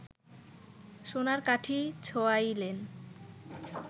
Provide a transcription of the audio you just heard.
সোনার কাঠি ছোঁয়াইলেন